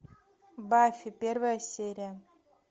баффи первая серия